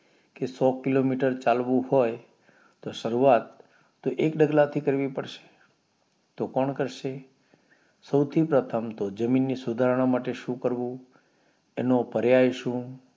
કે સો કિલોમીટર ચાલવું હોય તો શરૂવાત તો એક ડગલાં થી કરવી પડશે તો કોણ કરશે સૌથી પ્રથમ તો જમીન ની સુધારણા માટે શું કરવું એનો પર્યાય શું